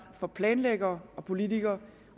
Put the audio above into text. for planlæggere og politikere